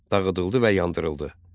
Dağıdıldı və yandırıldı.